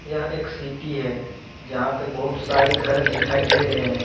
यह एक सीटी है जहां पे बहुत सारे घर दिखाई दे रहे है।